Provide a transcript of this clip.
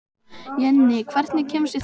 Jenni, hvernig kemst ég þangað?